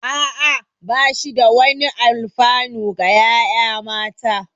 Ah ah, ba shi da wani alfanu ga ƴaƴa mata